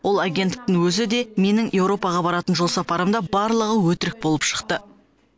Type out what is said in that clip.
ол агенттіктің өзі де менің еуропаға баратын жолсапарым да барлығы өтірік болып шықты